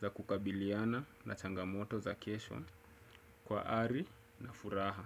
za kukabiliana na changamoto za kesho kwa ari na furaha.